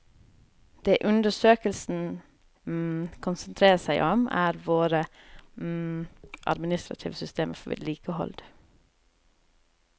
Det undersøkelsen konsentrerer seg om, er våre administrative systemer for vedlikehold.